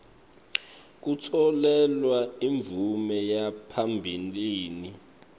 kutfolelwa imvume yaphambilini